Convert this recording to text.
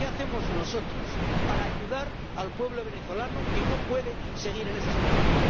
¿Qué hacemos nosotros para ayudar al pueblo venezolano que no puede seguir en esa situación?